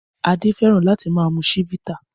Adé fẹ́ràn láti máa mu Chivita.